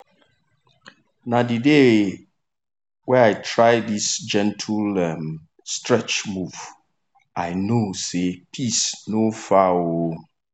na the day um i try this gentle um stretch move i know say peace no far. um